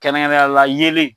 Kɛrɛnkɛrɛnnenya la yeelen.